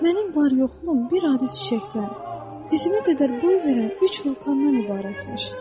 Mənim var-yoxum bir adi çiçəkdən, dizimə qədər boy verən üç vulkandan ibarət imiş.